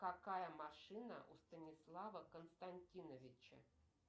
какая машина у станислава константиновича